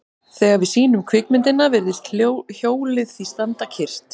Þegar við sýnum kvikmyndina virðist hjólið því standa kyrrt.